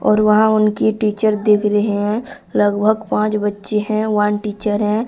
और वहां उनकी टीचर दिख रहे है लगभग पांच बच्चे है वन टीचर है।